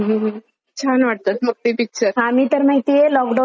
आम्ही तर माहितीये लॉकडाउन मध्ये ना घरी असायचो ना;